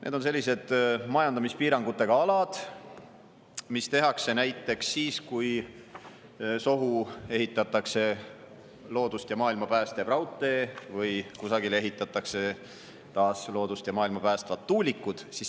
Need on sellised majandamispiirangutega alad, mis tehakse siis, kui sohu ehitatakse näiteks loodust ja maailma päästev raudtee või kusagile ehitatakse samuti loodust ja maailma päästvad tuulikud.